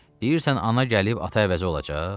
Deyirsən ana gəlib ata əvəzi olacaq?